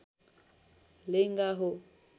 लेङ्गा हो